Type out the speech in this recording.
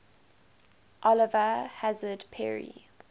oliver hazard perry